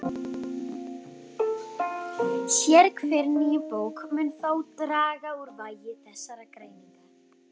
Sérhver ný bók mun þó draga úr vægi þessarar greiningar.